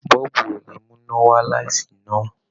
Bọ́ọ̀bù ò lè mú iná wá́ láìsí iná.